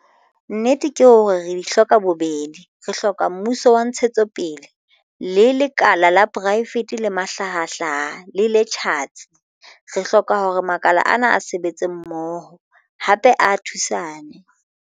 Nnete ke hore re di hloka bobedi. Re hloka mmuso wa ntshetsopele le lekala la poraefete le mahlahahlaha le le tjhatsi. Re hloka hore makala ana a sebetse mmoho, hape a thusane.